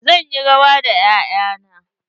Zan yi rawa da 'ya'ya na.